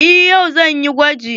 Eh yau zan yi gwajin.